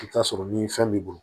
I bi t'a sɔrɔ ni fɛn b'i bolo